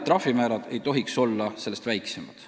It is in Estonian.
Trahvimäärad ei tohiks olla sellest väiksemad.